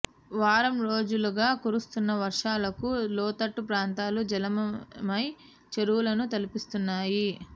వారం రోజులుగా కురుస్తున్న వర్షాలకు లోతట్లు ప్రాంతాలు జలమయమై చెరువులను తలపిస్తున్నాయి